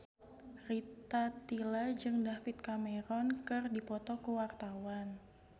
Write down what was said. Rita Tila jeung David Cameron keur dipoto ku wartawan